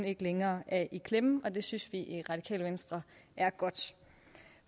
ikke længere er i klemme og det synes vi i radikale venstre er godt